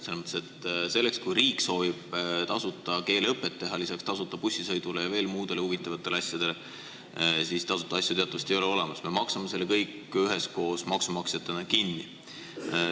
Selles mõttes, et kui riik soovib anda tasuta keeleõpet lisaks tasuta bussisõidule ja veel muudele huvitavatele asjadele, siis tasuta asju ei ole teatavasti olemas – me maksame selle kõik üheskoos maksumaksjatena kinni.